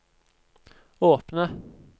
åpne